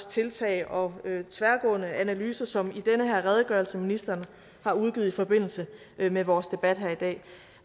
tiltag og tværgående analyser som i den her redegørelse ministeren har udgivet i forbindelse med vores debat her i dag